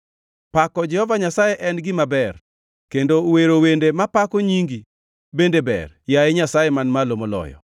Pako Jehova Nyasaye en gima ber kendo wero wende mapako nyingi bende ber, yaye Nyasaye Man Malo Moloyo,